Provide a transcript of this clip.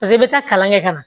Paseke i bɛ taa kalan kɛ ka na